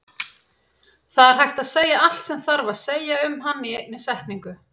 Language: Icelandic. Það er hægt að segja allt sem þarf að segja um hann í einni setningu.